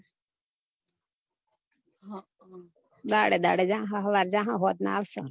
હમ દાડે દાડે જાસો સવારે જાહો સાંજના આવસો